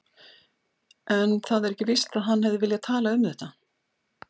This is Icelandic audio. En það er ekki víst að hann hefði viljað tala um þetta.